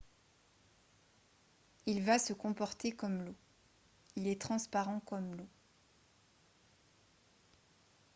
« il va se comporter comme l’eau. il est transparent comme l’eau